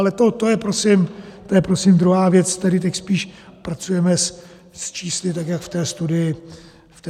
Ale to je prosím druhá věc, tedy teď spíš pracujeme s čísly, tak jak v té studii máme.